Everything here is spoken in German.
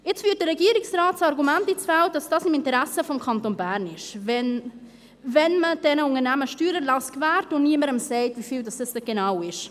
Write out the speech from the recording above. Jetzt führt der Regierungsrat das Argument ins Feld, dass das im Interesse des Kantons Bern ist, wenn man diesen Unternehmen Steuererlass gewährt und niemandem sagt, wie viel das genau ist.